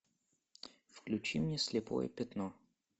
включи мне слепое пятно